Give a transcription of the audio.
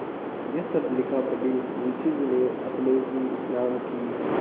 यह सब लिखापढ़ी मुंशीजी ने अपने ही नाम की क्